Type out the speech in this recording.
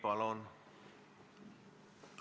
Palun!